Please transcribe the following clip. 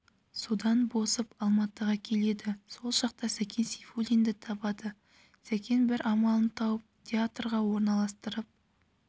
содан босып алматыға келеді сол жақта сәкен сейфуллинді табады сәкен бір амалын тауып театрға орналастырып